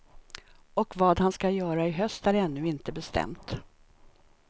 Och vad han ska göra i höst är ännu inte bestämt.